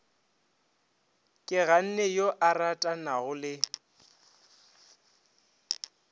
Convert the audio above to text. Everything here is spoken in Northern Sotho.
keganne yo a ratanago le